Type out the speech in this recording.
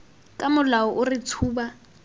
ka molao o re tshuba